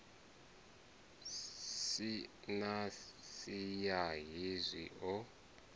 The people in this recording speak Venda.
si na siya hezwi o